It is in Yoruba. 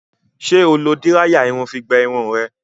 Ṣé o lo díráyà irun fi gbẹ irun rẹ?